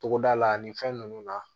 Togoda la ani fɛn nunnu na